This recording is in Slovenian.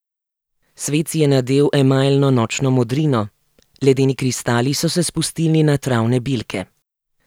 Svet si je nadel emajlno nočno modrino, ledeni kristali so se spustili na travne bilke.